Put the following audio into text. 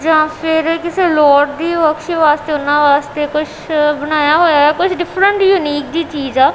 ਜਾਂ ਫਿਰ ਕਿਸੇ ਲੋੜ ਦੀ ਆਪਸ਼ਨ ਵਾਸਤੇ ਉਹਨਾਂ ਵਾਸਤੇ ਕੁਛ ਬਣਾਇਆ ਹੋਇਆ ਕੁਝ ਡਿਫਰੈਂਟ ਜੀ ਯੂਨੀਕ ਜੀ ਜਿਹੀ ਚੀਜ਼ ਆ।